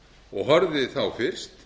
og horfði fyrst